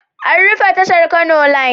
An rufe tashar Kano Line.